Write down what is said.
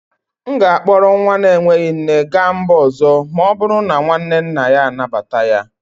M ga-akpọrọ nwa na-enweghị nne gaa mba ọzọ ma ọ bụrụ na nwanne nna ya anabata ya